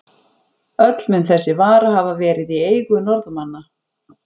Öll mun þessi vara hafa verið í eigu Norðmanna.